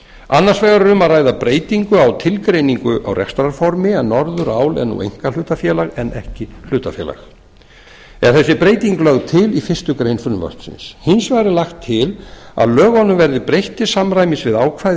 annars vegar er um að ræða breytingu á tilgreiningu á rekstrarformi en norðurál er nú einkahlutafélag en ekki hlutafélag er þessi breyting lögð til í fyrstu grein frumvarpsins hins vegar er lagt til að lögunum verði breytt til samræmis við ákvæði